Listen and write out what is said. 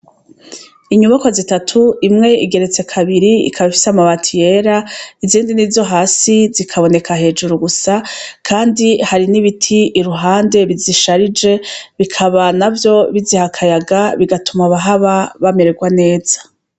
Inyubakwa zitatu, imwe igeretse kabiri ikaba zifise amabati yera, izindi nizohasi zikaboneka hejuru gusa kandi hari n'ibiti iruhande bizisharije bikaba navyo biziha akayaga bigatuma abahaba bamererwa neza.